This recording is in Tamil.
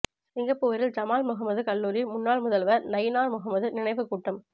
சிங்கப்பூரில் ஜமால் முஹம்மது கல்லூரி முன்னாள் முதல்வர் நயினார் முஹம்மது நினைவுக் கூட்டம்